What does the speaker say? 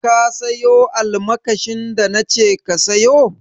Ka sayo almakashin da na ce ka sayo?